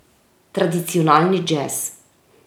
Tradicionalni džez.